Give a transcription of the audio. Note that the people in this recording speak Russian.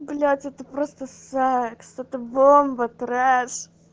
блять это просто секс это бомба треш